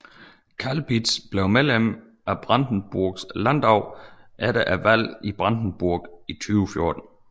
Kalbitz blev medlem af Brandenburgs landdag efter valget i Brandenburg i 2014